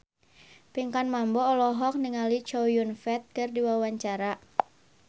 Pinkan Mambo olohok ningali Chow Yun Fat keur diwawancara